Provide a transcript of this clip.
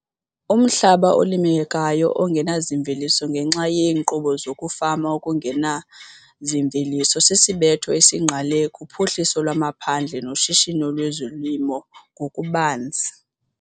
Umhlaba olimekayo ongenazimveliso ngenxa yeenkqubo zokufama okungenazimveliso sisibetho esingqale kuphuhliso lwamaphandle noshishino lwezolimo ngokubanzi